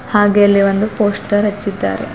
ಹಾಗೆ ಅಲ್ಲಿ ಒಂದು ಪೋಸ್ಟರ್ ಹಚ್ಚಿದ್ದಾರೆ.